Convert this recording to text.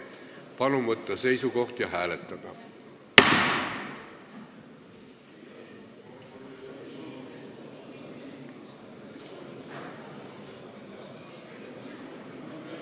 Palun võtta seisukoht ja hääletada!